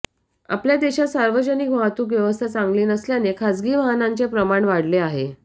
आपल्या देशात सार्वजनिक वाहतूक व्यवस्था चांगली नसल्याने खासगी वाहनांचे प्रमाण वाढले आहे